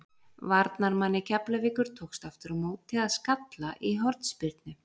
Varnarmanni Keflavíkur tókst aftur á móti að skalla í hornspyrnu.